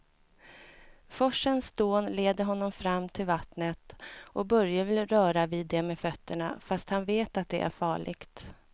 Forsens dån leder honom fram till vattnet och Börje vill röra vid det med fötterna, fast han vet att det är farligt.